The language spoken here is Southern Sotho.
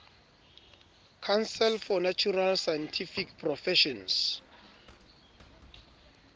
council for natural scientific professions